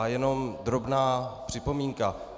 A jenom drobná připomínka.